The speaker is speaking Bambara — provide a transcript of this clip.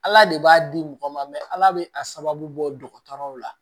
Ala de b'a di mɔgɔ ma ala bɛ a sababu bɔ dɔgɔtɔrɔw la